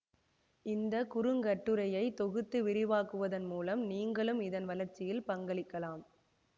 இந்த குறுங்கட்டுரையை தொகுத்து விரிவாக்குவதன் மூலம் நீங்களும் இதன் வளர்ச்சியில் பங்களிக்கலாம்